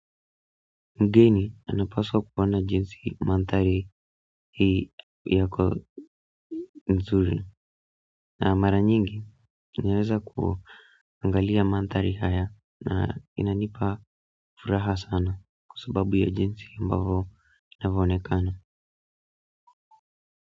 Mgeni anapaswa kuona jinsi manthari hii yako nzuri na mara nyingi ninaeza kuangalia manthari haya na inanipa furaha sana kwa sababu ya jinsi ambavo inavyo onekana.